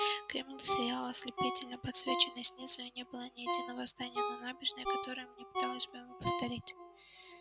кремль сиял ослепительно подсвеченный снизу и не было ни единого здания на набережной которое не пыталось бы ему вторить